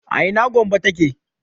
a ina Gombe ta ke?